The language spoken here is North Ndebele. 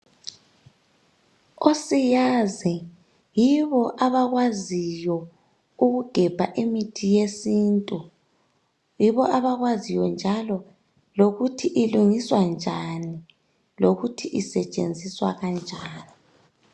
Osiyazi yibo abakwaziyo ukugebha imithi yesintu, yibo abakwaziyo njalo lokuthi ilungiswa njani, lokuthi isetshenziswa kanjani.